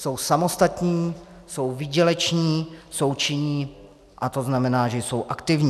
Jsou samostatní, jsou výděleční, jsou činní a to znamená, že jsou aktivní.